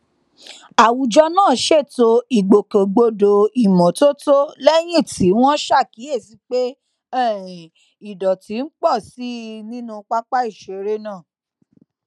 àwùjọ náà ṣètò ìgbòkègbodò ìmótótó léyìn tí wón ṣàkíyèsí pé um ìdọtí ń pò sí i nínú pápá ìṣeré náà